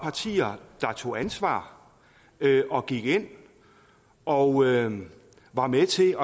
partier der tog ansvar og gik ind og var med til